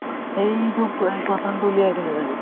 সেইটো চাগে